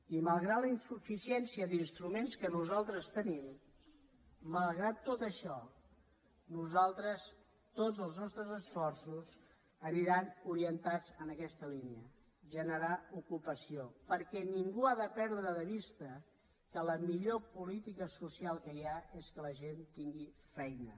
i malgrat la insuficiència d’instruments que nosaltres tenim malgrat tot això nosaltres tots els nostres esforços aniran orientats en aquesta línia generar ocupació perquè ningú ha de perdre de vista que la millor política social que hi ha és que la gent tingui feina